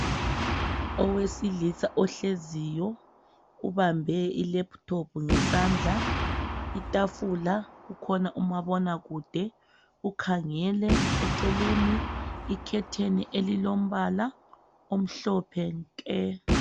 Owesilisa ohleziyo ubambe i laptop ngesandla itafula kukhona umabona kude ukhangele eceleni ikhetheni elilombala omhlophe nke.